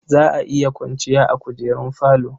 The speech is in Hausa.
Za a iya kwanciya a kujerun falo.